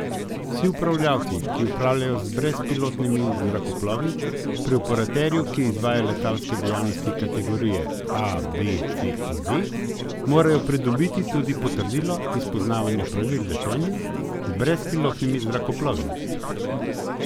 Vsi upravljavci, ki upravljajo z brezpilotnimi zrakoplovi pri operatorju, ki izvaja letalske dejavnosti kategorije A, B, C in D, morajo pridobiti tudi potrdilo iz poznavanja pravil letenja z brezpilotnimi zrakoplovi.